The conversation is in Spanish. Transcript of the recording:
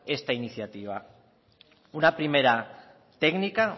esta iniciativa una primera técnica